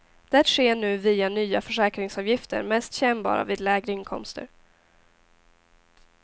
Det sker nu via nya försäkringsavgifter, mest kännbara vid lägre inkomster.